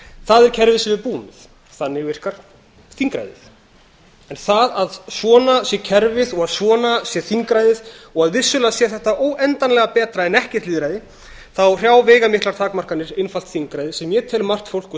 það er kerfi sem við búum við þannig virkar þingræðið en það að svona sé kerfið og að svona sé þingræðið og að vissulega sé þetta óendanlega betra en ekkert lýðræði þá hrjá veigamiklar takmarkanir einfalt þingræði sem ég tel margt fólk og